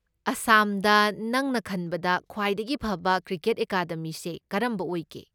ꯑꯥꯁꯥꯝꯗ ꯅꯪꯅ ꯈꯟꯕꯗ ꯈ꯭ꯋꯥꯏꯗꯒꯤ ꯐꯕ ꯀ꯭ꯔꯤꯀꯦꯠ ꯑꯦꯀꯥꯗꯃꯤꯁꯦ ꯀꯔꯝꯕ ꯑꯣꯏꯒꯦ?